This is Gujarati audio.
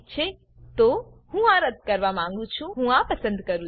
ઠીક છે તો હું આ રદ્દ કરવા માંગું છું હું આ પસંદ કરું